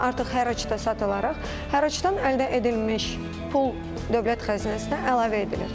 Artıq hərraca satılaraq, hərracdan əldə edilmiş pul dövlət xəzinəsinə əlavə edilir.